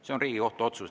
See on Riigikohtu otsus.